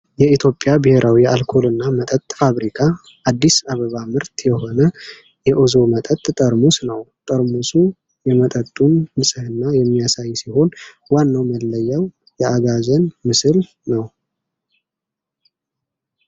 የኢትዮጵያ ብሔራዊ የአልኮልና መጠጥ ፋብሪካ፣ አዲስ አበባ ምርት የሆነ የኡዞ መጠጥ ጠርሙስ ነው። ጠርሙሱ የመጠጡን ንጽህና የሚያሳይ ሲሆን፣ ዋናው መለያው የአጋዘን ምስል ነው።